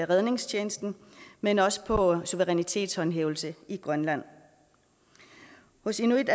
redningstjenesten men også på suverænitetshåndhævelse i grønland hos inuit